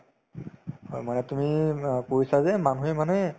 হয় মানে তুমি অ কৈছা যে মানুহে মানে